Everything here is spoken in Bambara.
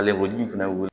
Ale koji fɛnɛ